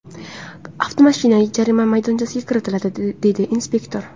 Avtomashina jarima maydonchasiga kiritildi”, – deydi inspektor.